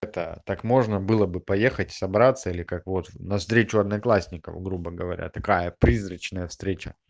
это так можно было бы поехать собраться или как вот на встречу одноклассников грубо говоря такая призрачная встречная